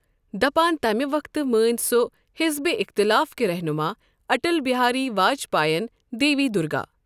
دپان تمہٕ وقتہٕ مٲنۍ سۄ حزب اِختلاف كہِ رہنما اٹل بہاری واجپایین دیوی درگا۔